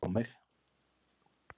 Skrá mig!